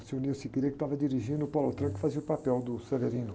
O, que estava dirigindo e o Paulo Autran que fazia o papel do Severino.